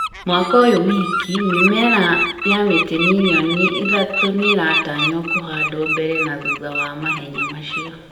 Mwaka ũyũ wiki, mĩmera ya mĩtĩ mirioni ithatũ nĩ ĩratanywo kũhandwo mbere na thutha wa mahenya macio,